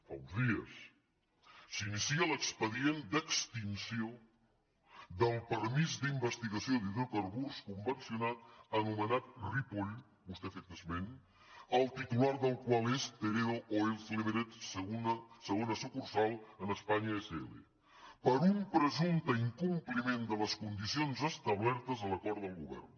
fa uns dies s’inicia l’expedient d’extinció del permís d’investigació d’hidrocarburs convencional anomenat ripoll vostè n’ha fet esment el titular del qual és teredo oils limited segona sucursal a espanya sl per un presumpte incompliment de les condicions establertes a l’acord del govern